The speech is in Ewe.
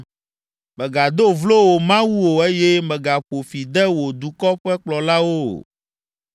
“Mègado vlo wò Mawu o eye mègaƒo fi de wò dukɔ ƒe kplɔlawo o.